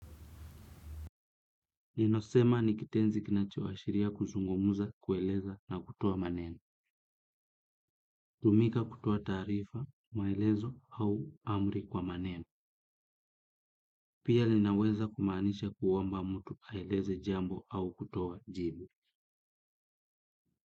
Ninasema nikitenzi kinachoashiria kuzungumuza kueleza na kutoa maneno. Hutumika kutoa tarifa, maelezo au amri kwa maneno. Pia linaweza kumanisha kuomba mtu aeleze jambo au kutoa jibu.